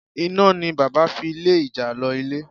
Iná ni bàbá fi lé ìjàlọ ilé.